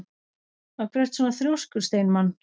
Af hverju ertu svona þrjóskur, Steinmann?